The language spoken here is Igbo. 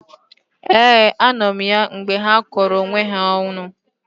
Ee, anọ m ya mgbe ha kọrọ onwe ha ọnụ